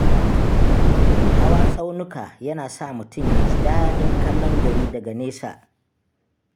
Hawa tsaunuka yana sa mutum ya ji daɗin kallon gari daga nesa.